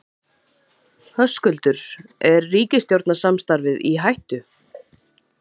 Höskuldur: Er ríkisstjórnarsamstarfið í hættu?